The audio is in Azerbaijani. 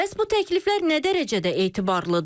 Bəs bu təkliflər nə dərəcədə etibarlıdır?